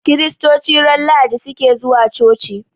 Kiristoci ran lahadi suke zuwa coci